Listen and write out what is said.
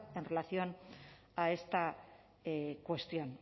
en relación a esta cuestión